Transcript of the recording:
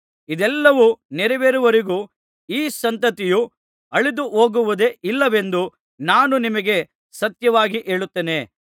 ಇದೆಲ್ಲವೂ ನೆರವೇರುವವರೆಗೂ ಈ ಸಂತತಿಯು ಅಳಿದು ಹೋಗುವುದೇ ಇಲ್ಲವೆಂದು ನಾನು ನಿಮಗೆ ಸತ್ಯವಾಗಿ ಹೇಳುತ್ತೇನೆ